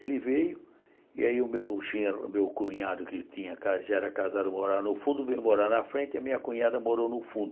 Ele veio e aí o meu genro meu cunhado que tinha já era casado morava no fundo, veio morar na frente e a minha cunhada morou no fundo.